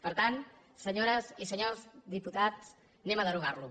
per tant senyores i senyors diputats deroguem lo